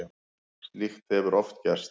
Slíkt hefur oft gerst.